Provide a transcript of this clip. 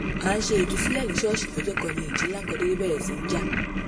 a ń ṣe ìtúsílẹ̀ ní ṣọ́ọ̀ṣì lọ́jọ́ kan ni ìjì ńlá kan déédé bẹ̀rẹ̀ sí í jà